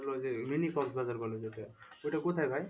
ওই যে mini কক্স বাজার বলে যেটা ঐটা কোথায় ভাই?